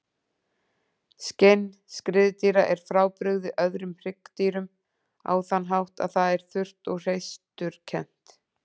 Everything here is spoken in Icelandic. Skinn skriðdýra er frábrugðið öðrum hryggdýrum á þann hátt að það er þurrt og hreisturkennt.